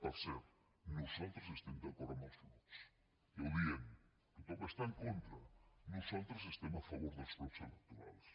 per cert nosaltres estem d’acord amb els blocs ja ho diem tothom hi està en contra nosaltres estem a favor dels blocs electorals